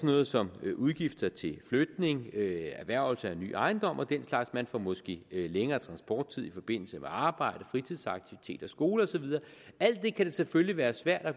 noget som udgifter til flytning erhvervelse af ny ejendom og den slags man får måske længere transporttid i forbindelse med arbejdet fritidsaktiviteter skoler og så videre det kan selvfølgelig være svært